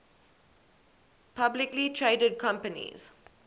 publicly traded companies